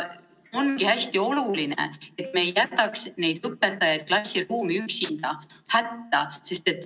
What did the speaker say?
Ongi hästi oluline, et me ei jätaks neid õpetajaid klassiruumi üksinda hätta.